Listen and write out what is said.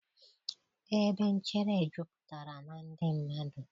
ebe nchere jupụtara na ndị mmadụ.